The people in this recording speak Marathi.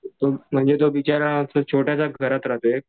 म्हणजे तो बिचारा अशा छोट्याशा घरात राहतोय.